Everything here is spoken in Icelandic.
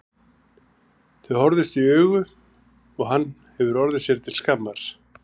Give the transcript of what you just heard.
Þau horfðust í augu og hann hefur orðið sér til skammar.